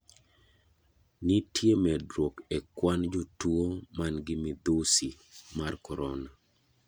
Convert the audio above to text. Nitiere medruok e kwan jotuo man gi midhusi mar korona.